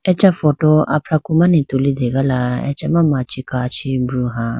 acha photo afraku mane tulitegala achama machi kachi broha.